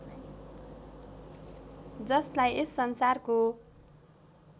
जसलाई यस संसारको